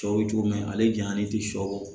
Sɔ bɛ cogo min ale jayani ti sɔ bɔ